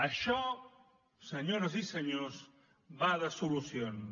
això senyores i senyors va de solucions